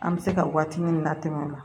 An bɛ se ka waati min na tɛmɛ o la